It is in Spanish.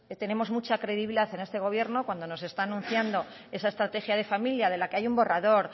tenemos mucha credibilidad en este gobierno cuando nos está anunciando esa estrategia de familia de la que hay un borrador